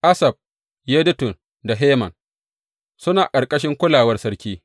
Asaf, Yedutun da Heman suna ƙarƙashin kulawar sarki.